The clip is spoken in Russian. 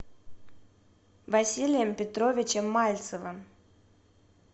василием петровичем мальцевым